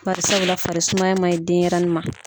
Karisa de la farisumaya maɲi denyɛrɛnin ma.